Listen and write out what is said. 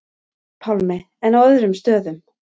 Pálmi: En á öðrum stöðum?